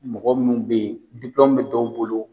Mɔgɔ munnu be yen be dɔw bolo.